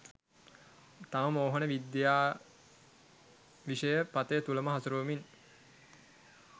තම මෝහන විද්‍යා විශය පථය තුළම හසුරුවමින්